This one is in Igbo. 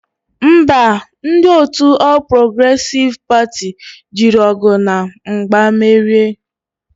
Ḿbà, ndi otu All Progressive Party jiri ogu na mgba merie.